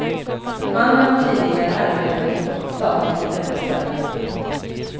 Mannen har tidigare arbetat åt ett statligt ämbetsverk.